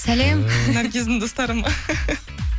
сәлем наргиздің достары ма